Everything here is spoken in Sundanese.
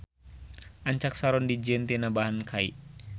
Ancak saron dijieun tina bahan kai.